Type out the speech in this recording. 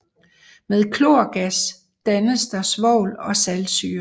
Med klorgas dannes der svovl og saltsyre